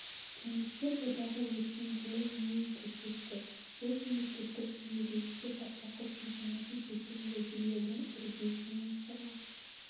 кеңестер одағы өткен жол не көрсетті ол мемлекеттік жүйе ретінде бастапқы кезеңінде берген уәделерінің үрдісінен шыға